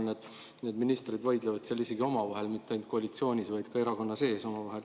Ma vaatan, et ministrid vaidlevad isegi omavahel, mitte ainult koalitsioonis, vaid ka erakonna sees.